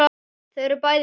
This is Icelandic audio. Þau eru bæði látin.